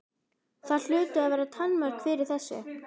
Það hlutu að vera takmörk fyrir þessu.